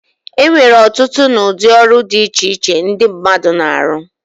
Enwere ọtụtụ na udi ọrụ di iche iche ndi mmadu na-arọ.